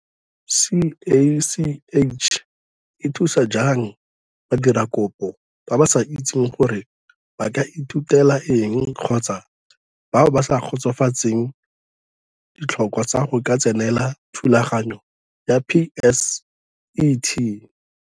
CACH e thusa jang badiradikopo ba ba sa itseng gore ba ka ithutela eng kgotsa bao ba sa kgotsofatseng ditlhokwa tsa go ka tsenela thulaganyo ya PSET?